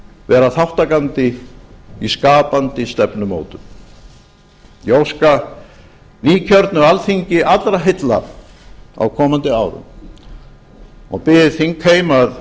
vera þátttakandi í skapandi stefnumótun ég óska nýkjörnu alþingi allra heilla á komandi árum og bið þingheim að